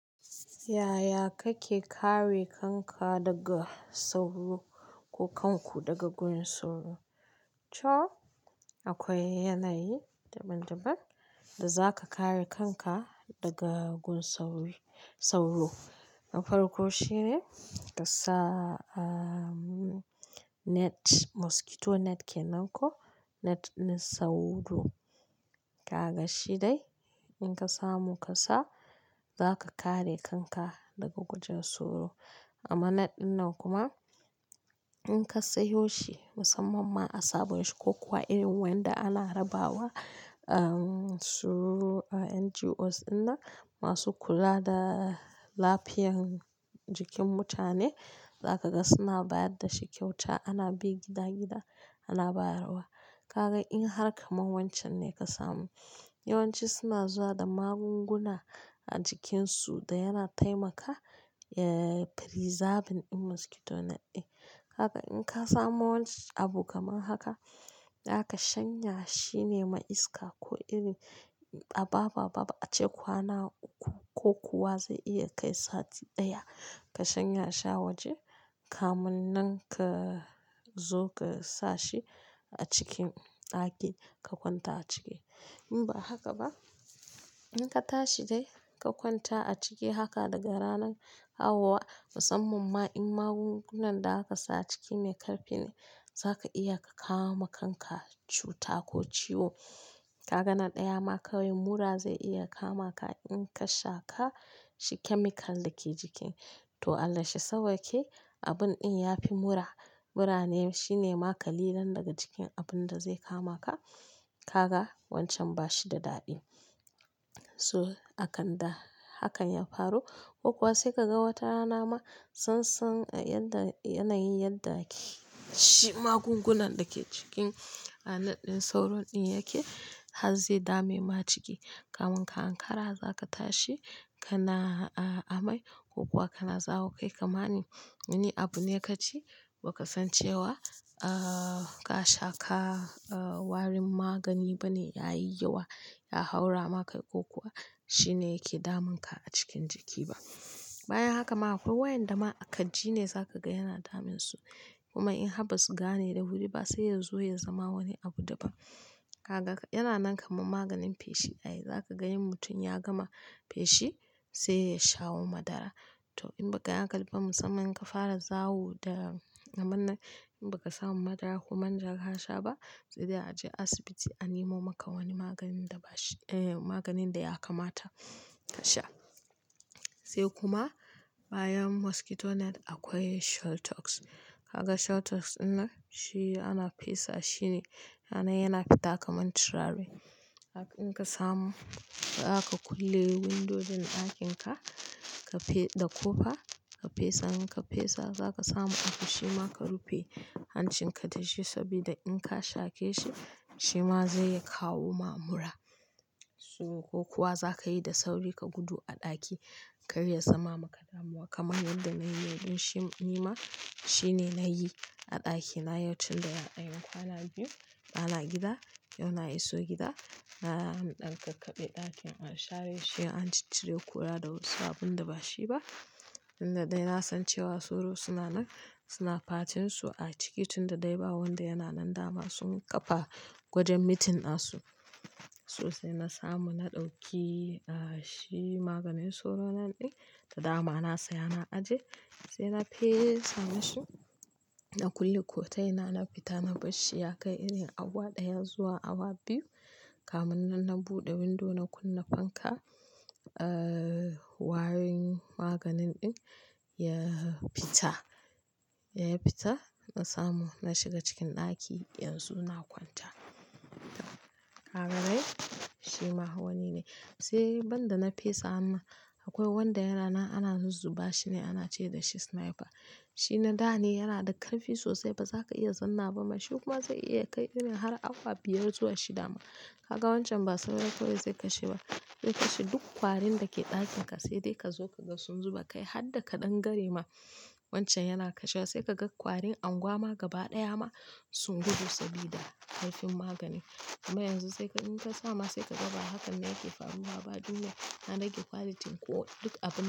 Yaya kake kare kanka daga sauro ko kanku daga gurin sauro? To akwai yanayi daban-daban da zaka kare kanka daga gun saur-sauro. Na farko shine kasa, ah net, mosquito net kenan ko net na sauro. Kaga shi dai in ka samu ka sa, zaka kare kanka daga gurin sauro. Amma net ɗin nan kuma in ka sayo shi musamman ma a sabon shi ko kuwa irin waƴanda ana rabawa, ah sururuwa, NGOs ɗin nan masu kula da lafiyan jikin mutane, zaka ga suna bayar da shi kyauta. Ana bi gida-gida ana bayarwa. Ka ga in har kaman wancan ne ka samu. Yawanci suna zuwa da magunguna a jikinsu da yana taimaka, eh preserving ɗin mosquito net ɗin. Haka in ka samo wani abu kamar haka, zaka shanya shine ma iska ko iri a babu a babu ace kwana uku ko kuwa zai iya kai sati ɗaya. Ka shanya shi a waje, kamun nan ka zo ka sa shi a cikin ɗaki ka kwanta a ciki. In ba haka ba, in ka tashi dai ka kwanta a ciki haka daga ranan kawo wa, musamman ma in magungunan da aka sa a ciki me ƙarfi ne, zaka iya ka kawo ma kanka cuta ko ciwo. Ka ga na ɗaya ma kawai mura zai iya kama ka in ka sha ƙa shi chemical da ke jiki. To Allah shi sawwake, abun ɗin yafi mura. Mura ne shine ma ƙalilan daga cikin abun da zai kama ka. Ka ga wancan ba shi da daɗi. So akan da hakan ya faru, ko kuwa sai ka ga wata rana ma sun san yanda, yanayin yadda shi magungunan da ke cikin net ɗin sauro ɗin yake har zai dame ma jiki. Kamun ka ankara zaka tashi ka na a amai ko kuwa ka na zawo kai kamar ni. Wani abu ne ka ci ba ka san cewa, ah ka shaƙa, ah warin magani bane ya yi yawa ya haura ma kai ko kuwa shinee yake damun ka a cikin jiki ba. Bayan haka ma akwai waƴanda ma a kirji ne zaka ga yana damun su. Kuma in har ba su gane da wuri ba sai ya zo ya zama wani abu daban. Ka ga yana nan kaman maganin fashi. Ai, zaka ga in mutum ya gama fashi sai ya shawo madara. To in ba ka yi a hankali ba musamman in ka fara zawo da abinnan, in ba ka samu madara ko manja ka sha ba, sai dai a je asibiti an nimo maka wani maganin da ba shi, eh maganin da ya kamata ka sha. Sai kuma bayan mosquito net akwai shelltouss. Ka ga shell techs ɗin nan shi ana fesa. Shi ne yana nan yana fita kamar turare. In ka samu zaka kulle windojin ɗakin ka, ka fe, da ƙofa ka fesa. In ka fesa zaka samu abu shima ka rufe hancin ka da shi sabida in ka shaƙe shi, shima zai iya kawo ma mura. So ko kuwa zaka yi da sauri ka gudu a ɗaki kar ya zama maka damuwa. Kamar yanda na yi yau ɗin shi ni ma shine na yi a ɗakina yau tunda anyi kwana biyu. Ba na gida, yau na iso gida. Na ham ɗan kakkaɓe ɗakin an share shi an ciccire ƙura da wasu abunda ba shi ba. Inda dai na san cewa sauro suna nan suna fatin su a ciki tunda dai ba wanda yana nan dama sun kafa wajen mitin na su. Sosai na samu na ɗauki, ah shi maganin sauro nan ɗin da dama na saya na ajiye. Sai na fesa musu, na kulle kota ina, na fita na bar shi. Ya kai irin awa ɗaya zuwa awa biyu. Kamun nan na buɗe windo na kunna fanka, ah warin maganin ɗin ya fita. Ya fita na samu na shiga cikin ɗaki yanzu na kwanta. Ka ganai? Shi ma wani ne. Sai banda na fesa amma akwai wanda yana nan ana zuzzuba. Shi ne, ana ce da shi sniper. Shi na da ne, yana da ƙarfi sosai ba zaka iya zanna ba. Ma shi kuma zai iya kai irin har awa biyar zuwa shida ma. Ka ga wancan ba sauro kawai zai kashe ba. Zai kashe duk kwarin da ke ɗakin ka sai dai ka zo ka ga sun zuba kai har da ƙadangare ma wancan yana kashewa. Sai ka ga kwarin anguwama gaba ɗaya ma sun gudu sabida ƙarfin magani. Kuma yanzu sai ka in ka sa ma sai ka ga ba hakan ne yake faruwa ba. Duniyar ta rage ƙwaliti ko duk abun da.